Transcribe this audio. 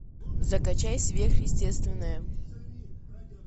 закачай сверхъестественное